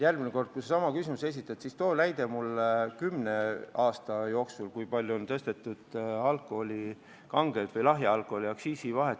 Järgmine kord, kui sa sama sisuga küsimuse esitad, too mulle näide, kui palju on kümne aasta jooksul suurendatud kange ja lahja alkoholi aktsiisi vahet.